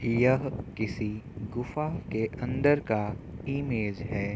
यह किसी गुफा के अंदर का इमेज है।